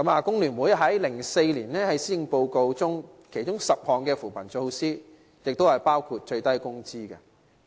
工聯會在2004年的施政報告中建議提出10項扶貧措施，包括訂定最低工資。